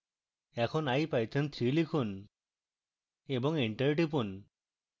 এখন ipython3 লিখুন এবং enter টিপুন